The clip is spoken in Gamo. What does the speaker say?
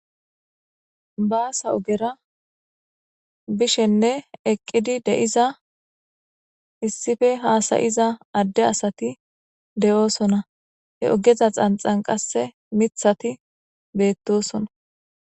baasa ogera bishenne eqqidi de7iza issife haasayiza adde asati de7oosona he ogeza xanxan qasse mithati beettosona